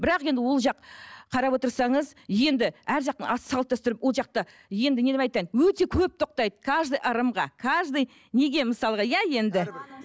бірақ енді ол жақ қарап отырсаңыз енді әр жақтың а салт дәстүрі ол жақта енді не деп айтайын өте көп тоқтайды каждый ырымға каждый неге мысалға иә енді